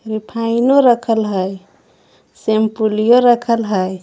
रिफाइनो रखल हई सेमपुलियो रखल हई।